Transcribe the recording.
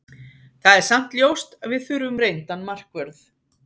Það er samt ljóst að við þurfum reyndan markvörð.